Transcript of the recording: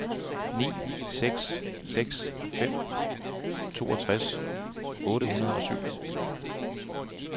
ni seks seks fem toogtres otte hundrede og syv